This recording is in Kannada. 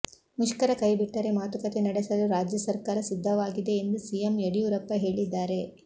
ಮುಷ್ಕರ ಕೈ ಬಿಟ್ಟರೆ ಮಾತುಕತೆ ನಡೆಸಲು ರಾಜ್ಯ ಸರ್ಕಾರ ಸಿದ್ಧವಾಗಿದೆ ಎಂದು ಸಿಎಂ ಯಡಿಯೂರಪ್ಪ ಹೇಳಿದ್ದಾರೆ